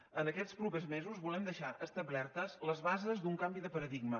en aquests propers mesos volem deixar establertes les bases d’un canvi de paradigma